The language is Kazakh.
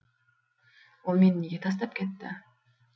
ол мені неге тастап кетті